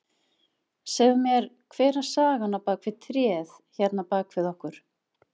Segðu mér, hver er sagan á bak við tréð hérna á bakvið okkur?